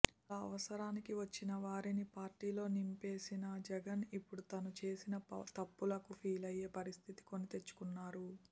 అలా అవసరానికి వచ్చిన వారిని పార్టీలో నింపేసిన జగన్ ఇప్పుడు తాను చేసిన తప్పులకు ఫీలయ్యే పరిస్థితిని కొని తెచ్చుకున్నారు